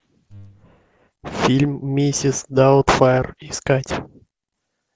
фильм миссис даутфайр искать